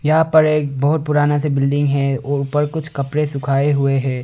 यहां पर एक बहुत पुराना बिल्डिंग है और ऊपर कुछ पकड़े सुखाए है।